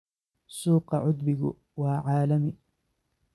Suuqa cudbigu waa caalami.